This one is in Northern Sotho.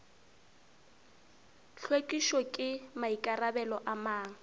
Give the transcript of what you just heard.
hlwekišo ke maikarabelo a mang